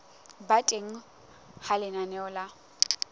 ba teng ha lenaneo la